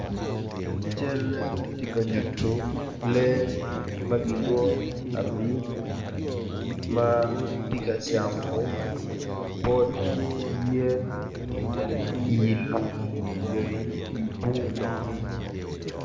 Calle ti ka nyutu lee ma kilwongo ni abim ma ti ka camo pot yen i lum nyo i di bung